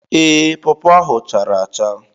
Ee, pawpaw ahụ chara acha